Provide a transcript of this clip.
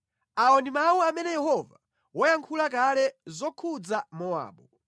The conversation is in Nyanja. Awa ndi mawu amene Yehova wayankhula kale zokhudza Mowabu.